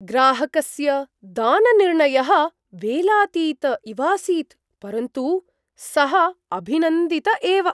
ग्राहकस्य दाननिर्णयः वेलातीत इवासीत्, परन्तु सः अभिनन्दित एव।